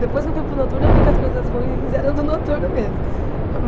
Depois que eu fui para o noturno, eu vi que as coisas ruins eram do noturno mesmo.